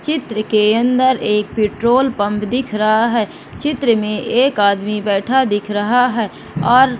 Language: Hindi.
चित्र के अंदर एक पेट्रोल पंप दिख रहा है चित्र में एक आदमी बैठा दिख रहा है और--